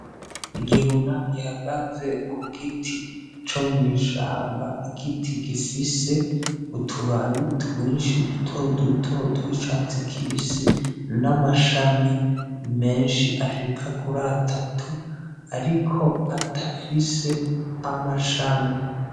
Igihuna gihagaze k'ugiti co mwishamba igiti gifise utu babi twishi duto duto twicatsi kibisi n'amashami meshi ashika kuri atatu ariko adafise amashami